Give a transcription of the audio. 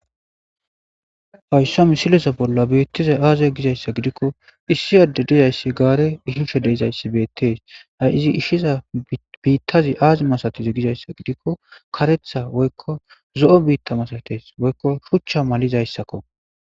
Hayssa misilesa bolla biittizay aaze gizayssa gidikko issi adde dizayssi gaare ishushe deizayssi beettees a izi ishiza biittazi aazi masatizi gizayssa gidikko karetha woykko zo'o biitta masatees woykko shuchcha malizayssakko.